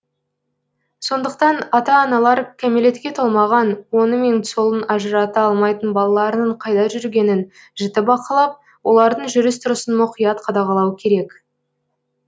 сондықтан ата аналар кәмелетке толмаған оңы мен солын ажырата алмайтын балаларының қайда жүргенін жіті бақылап олардың жүріс тұрысын мұқият қадағалау керек